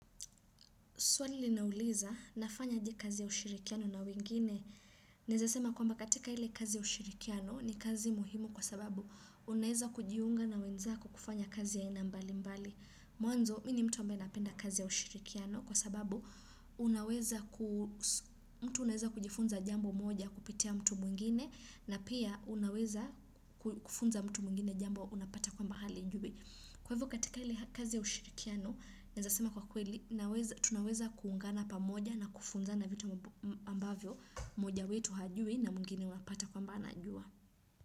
Swali linauliza nafanya aje kazi ya ushirikiano na wengine. Neza sema kwamba katika ile kazi ya ushirikiano ni kazi muhimu kwa sababu unaeza kujiunga na wenza kokufanya kazi ya aina mbali mbali. Mwanzo mini mtu ambaena penda kazi ya ushirikiano kwa sababu unaweza ku mtu unaeza kujifunza jambo moja kupitia mtu mwingine na pia unaweza ku kufunza mtu mwingine jambo unapata kwamba halijui. Kwa hivo katika ile ha kazi ya ushirikiano, naezasema kwa kweli, tunaweza kuungana pamoja na kufunzana vitu ambavyo, moja wetu hajui na mngine wapata kwamba anajua.